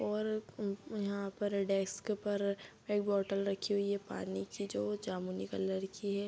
और उ उ यहाँ पर डेस्क पर एक बोतल रखी हुई है पानी की जो जामुनी कलर की है।